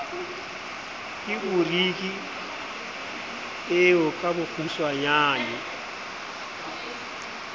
ke boriki eo ka bokgutswanyane